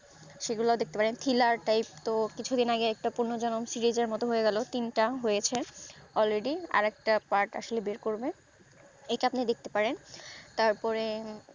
ওগুলো দেখতে পারেন thriller type এর তো কিছু দিন আগে তো পুনর্জন্ম series এর তো হয় গেলো তিন তা হয়েছে part আর একটা already আসলে বের করব ইটা আপনি দেখতে পারেন তারপরে